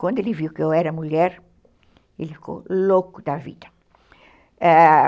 Quando ele viu que eu era mulher, ele ficou louco da vida, ãh